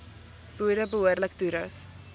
boere behoorlik toerus